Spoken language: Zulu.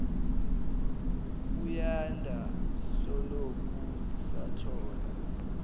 buyanda soloku sathola